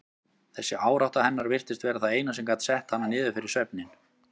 Þessi árátta hennar virtist vera það eina sem gat sett hana niður fyrir svefninn.